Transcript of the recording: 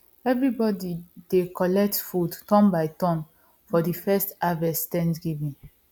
everybody dey collect food turn by turn for the first harvest thanksgiving